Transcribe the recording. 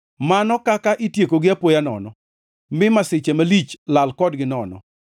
Mano kaka itiekogi apoya nono, mi masiche malich lal kodgi nono!